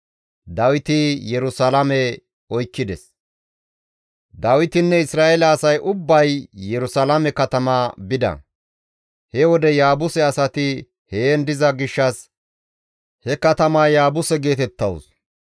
Dawitinne Isra7eele asay ubbay Yerusalaame katama bida; he wode Yaabuse asati heen diza gishshas he katamaya Yaabuse geetettawus.